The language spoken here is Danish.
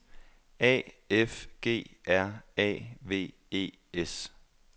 A F G R A V E S